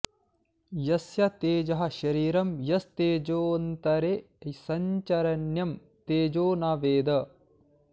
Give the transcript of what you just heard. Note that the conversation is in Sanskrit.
यस्य तेजः शरीरं यस्तेजोऽन्तरे संचरन्यं तेजो न वेद